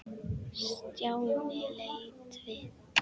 Stjáni leit við.